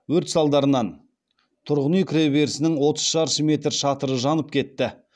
өрт салдарынан тұрғын үй кіреберісінің отыз шаршы метр шатыры жанып кетті